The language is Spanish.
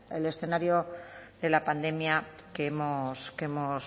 el escenario de la pandemia que hemos